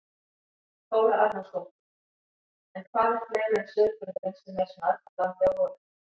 Þóra Arnórsdóttir: En hvað er fleira en sauðburðurinn sem er svona aðkallandi á vorin?